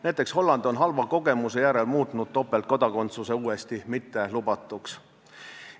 Näiteks Holland on halva kogemuse järel muutnud topeltkodakondsuse uuesti mittelubatuks.